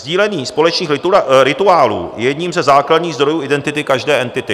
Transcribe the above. Sdílení společných rituálů je jedním ze základních zdrojů identity každé entity.